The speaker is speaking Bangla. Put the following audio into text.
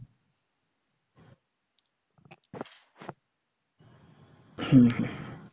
হম,